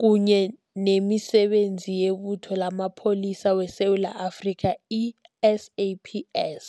kunye nemiSebenzi yeButho lamaPholisa weSewula Afrika, i-SAPS.